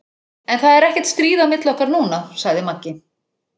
En það er ekkert stríð á milli okkar núna, sagði Maggi.